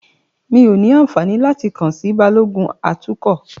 Mí ó ní àǹfààní láti kàn sí Balógun atukọ̀.